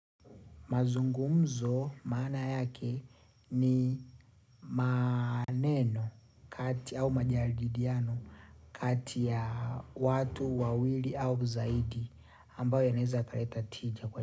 Mazungumzo maana yake ni maneno kati au majadiliano kati ya watu wawili au zaidi ambao yanaeza kaleta tija kwa.